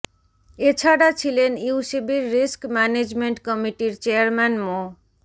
এ ছাড়া ছিলেন ইউসিবির রিস্ক ম্যানেজমেন্ট কমিটির চেয়ারম্যান মো